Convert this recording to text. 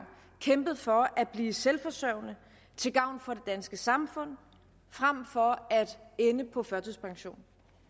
kæmpet for at blive selvforsørgende til gavn for det danske samfund frem for at ende på førtidspension